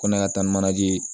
Ko ne ka taa ni manaje ye